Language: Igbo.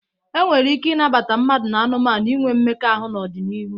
E nwere ike ịnabata mmadụ na anụmanụ inwe mmekọahụ n'ọdịnihu.